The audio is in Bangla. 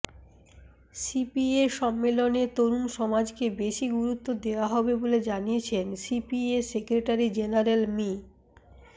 সিপিএ সম্মেলনে তরুণ সমাজকে বেশি গুরুত্ব দেওয়া হবে বলে জানিয়েছেন সিপিএ সেক্রেটারি জেনারেল মি